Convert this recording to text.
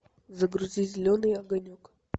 загрузи зеленый огонек